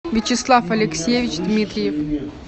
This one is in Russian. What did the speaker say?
вячеслав алексеевич дмитриев